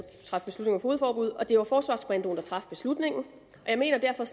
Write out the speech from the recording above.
fogedforbud og det var forsvarskommandoen der traf beslutningen jeg mener derfor